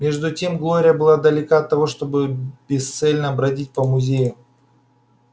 между тем глория была далека от того чтобы бесцельно бродить по музею